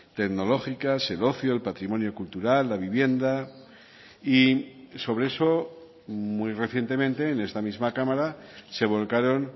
tecnológicas el ocio el patrimonio cultural la vivienda y sobre eso muy recientemente en esta misma cámara se volcaron